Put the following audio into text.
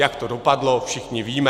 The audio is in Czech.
Jak to dopadlo, všichni víme.